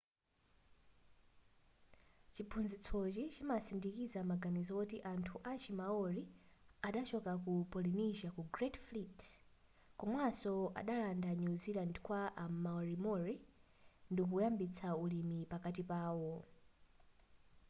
chiphunzitsochi chimatsindikiza maganizo woti anthu achi maori adachoka ku polynesia ku great fleet komanso adalanda new zealand kwa a moriori ndikuyambitsa ulimi pakati pawo